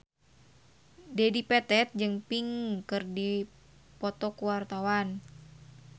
Dedi Petet jeung Pink keur dipoto ku wartawan